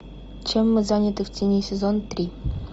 чем мы заняты в тени сезон три